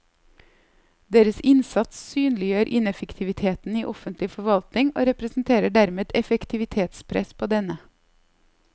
Deres innsats synliggjør ineffektiviteten i offentlig forvaltning og representerer dermed et effektivitetspress på denne.